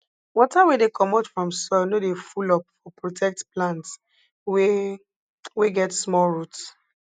water wey dey commot from soil no dey full up for protect plants wey wey get small roots